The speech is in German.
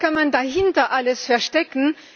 Was kann man dahinter alles verstecken?